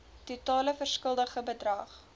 totale verskuldigde bedrag